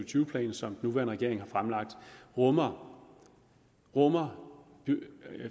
tyve plan som den nuværende regering har fremlagt rummer rummer